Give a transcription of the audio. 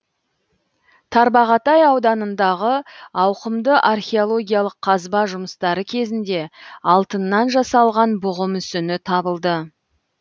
тарбағатай ауданындағы ауқымды археологиялық қазба жұмыстары кезінде алтыннан жасалған бұғы мүсіні табылды